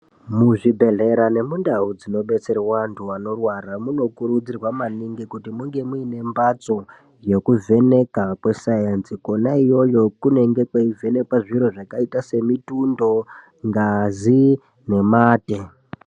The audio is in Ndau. Muzvibhedhlera nemundau dzinodetserwa antu anorwara munokurudzirwa maningi kuti munge muine mbatso yekuvheneka kwesainzi Kona iyoyo kunenge kweivhenekwa zviro zvakaita semitundo ngazi nemate.